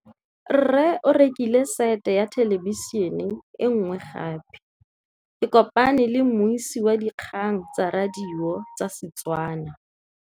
Rre o rekile sete ya thêlêbišênê e nngwe gape. Ke kopane mmuisi w dikgang tsa radio tsa Setswana.